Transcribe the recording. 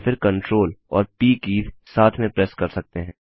या फिर CTRL और प कीज़ साथ में प्रेस कर सकते हैं